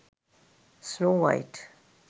snow white